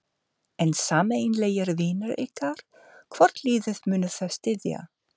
En sameiginlegir vinir ykkar, hvort liðið munu þeir styðja?